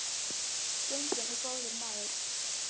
Genginn er góður maður.